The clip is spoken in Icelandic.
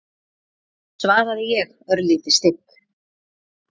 svaraði ég, örlítið stygg.